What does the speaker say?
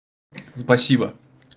спасибо